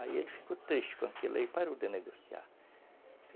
Aí ele ficou triste com aquilo e parou de negociar.